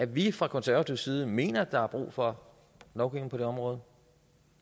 vi fra konservativ side mener at der er brug for lovgivning på det område